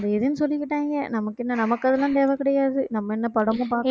இதுன்னு சொல்லிக்கிட்டாங்க நமக்கு என்ன நமக்கு அதெல்லாம் தேவை கிடையாது நம்ம என்ன படமும் பாக்~